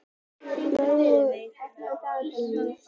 Sælaugur, opnaðu dagatalið mitt.